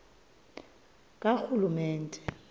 karhulumente